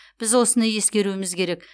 біз осыны ескеруіміз керек